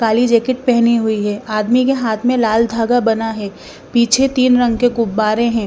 काली jacket पहनी हुई है आदमी के हाथ में लाल धागा बना है पीछे तीन रंग के गुब्बारे हैं।